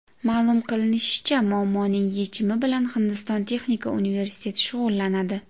Ma’lum qilinishicha, muammoning yechimi bilan Hindiston texnika universiteti shug‘ullanadi.